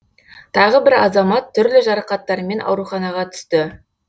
тағы бір азамат түрлі жарақаттармен ауруханаға түсті